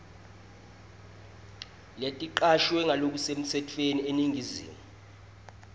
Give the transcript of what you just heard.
leticashwe ngalokusemtsetfweni eningizimu